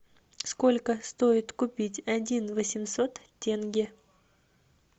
сколько стоит купить один восемьсот тенге